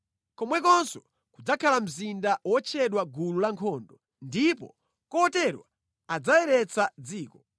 (Komwekonso kudzakhala mzinda wotchedwa Gulu la nkhondo). Ndipo potero adzayeretsa dziko.